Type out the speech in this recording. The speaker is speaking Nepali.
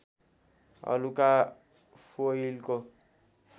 हलुका फोइलको